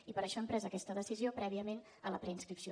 i per això hem pres aquesta decisió prèviament a la preinscripció